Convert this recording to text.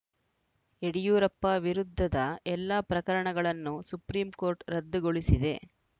ಯಡಿಯೂರಪ್ಪ ವಿರುದ್ಧದ ಎಲ್ಲಾ ಪ್ರಕರಣಗಳನ್ನು ಸುಪ್ರೀಂಕೋರ್ಟ್‌ ರದ್ದುಗೊಳಿಸಿದೆ